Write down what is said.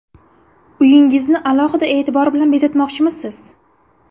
Uyingizni alohida e’tibor bilan bezatmoqchimisiz?